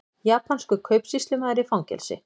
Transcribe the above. Japanskur kaupsýslumaður í fangelsi